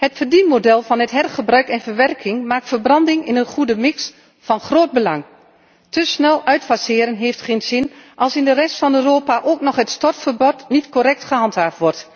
Het verdienmodel van hergebruik en verwerking maakt verbranding in een goede mix van groot belang. Te snel uitfaseren heeft geen zin als in de rest van Europa ook nog het stortverbod niet correct wordt gehandhaafd.